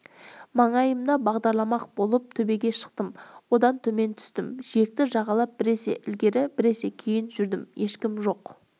маңайымды бағдарламақ болып төбеге шықтым одан төмен түстім жиекті жағалап біресе ілгері біресе кейін жүрдім ешкім жоқ